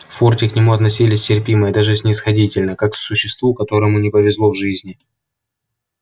в форте к нему относились терпимо и даже снисходительно как к существу которому не повезло в жизни